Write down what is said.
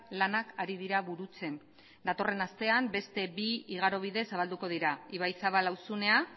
lanak ari dira burutzen datorren astean beste bi igaro bide zabalduko dira ibaizabal auzunea